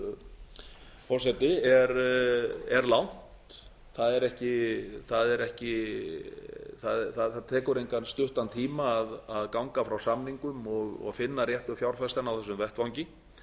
hæstvirtur forseti er langt það tekur engan stuttan tíma að ganga frá samningum og finna réttu fjárfestana á þessum vettvangi